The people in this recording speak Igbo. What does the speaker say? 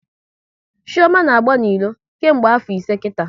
Chioma na agba n'ilo nke mgbe afo ise kita